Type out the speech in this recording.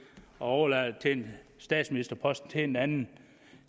og overlader statsministerposten til en anden